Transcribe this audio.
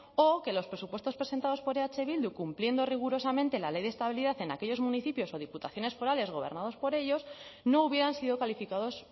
o que los presupuestos presentados por eh bildu cumpliendo rigurosamente la ley de estabilidad en aquellos municipios o diputaciones forales gobernados por ellos no hubieran sido calificados